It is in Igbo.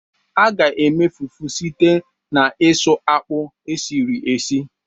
A ga-eme fufu site n'isu akpụ esiri esi.